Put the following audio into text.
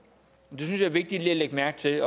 det synes jeg vigtigt lige at lægge mærke til